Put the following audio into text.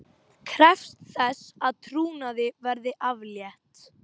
Krefst þess að trúnaði verði aflétt